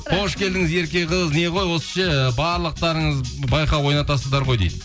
қош келдіңіз ерке қыз не ғой осы ше ы барлықтарыңыз байқау ойнатасыздар ғой дейді